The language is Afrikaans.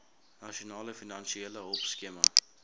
nasionale finansiële hulpskema